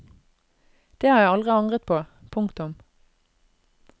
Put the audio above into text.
Det har jeg aldri angret på. punktum